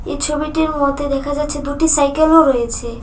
এই ছবিটির মধ্যে দেখা যাচ্ছে দুটি সাইকেলও রয়েছে।